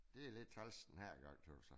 Det lidt træls den her gang